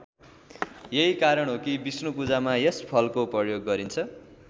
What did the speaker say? यही कारण हो कि विष्णु पूजामा यस फलको प्रयोग गरिन्छ।